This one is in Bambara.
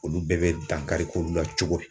Olu bɛɛ bɛ dankari k'olu la cogo di